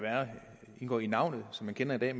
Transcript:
indgå i navnet som man kender det i